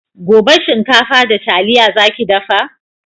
Gobe shinkafa da taliya za ki dafa?